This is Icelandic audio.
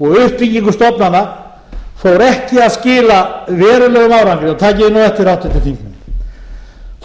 og uppbyggingu stofnanna fór ekki að skila verulegum árangri og takið þið nú eftir háttvirtir þingmenn